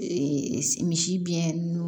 misi biyɛn